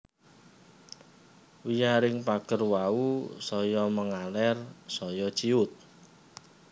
Wiyaring pager wau saya mangaler saya ciyut